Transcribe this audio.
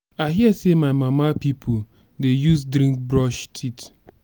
i hear sey my mama pipu dey use drink brush teet.